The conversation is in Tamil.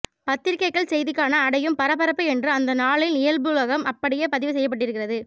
பத்திரிக்கைகள் செய்திக்கான அடையும் பரபரப்பு என்று அந்த நாளின் இயல்புலகம் அப்படியே பதிவு செய்யபட்டிருக்கிறது